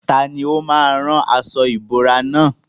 Tani ó máa rán aṣọ ìbora nà?